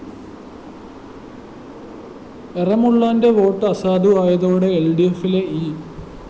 എറമുളളാന്റെ vote അസാധുവായതോടെ എല്‍ഡിഎഫിലെ E